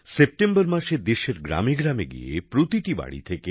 September মাসে দেশের গ্রামেগ্রামে গিয়ে প্রতিটি বাড়ি থেকে